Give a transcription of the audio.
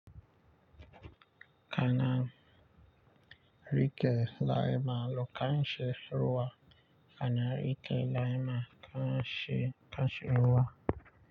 Kana rike laima lokai she ruwa kana rike laima kai she kai she ruwa.